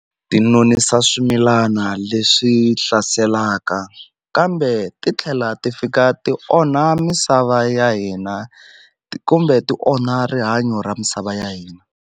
Ti nonisa swimilana leswi hlaselaka kambe ti tlhela ti fika ti onha misava ya hina kumbe ti onha rihanyo ra misava ya hina.